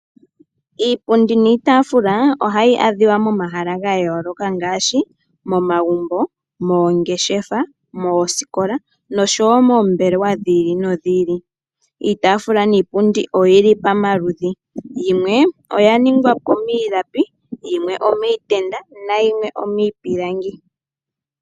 Iipundi niitaafula ohayi adhika momahala ga yooloka ngaashi momagumbo, moongeshefa, moosikola noshowo moombelewa dhi ili nodhi ili. Iitaafula niipundi oyi li pamaludhi, yimwe oya ningwa po miilapi yimwe omiitenda nayimwe omiipilangi.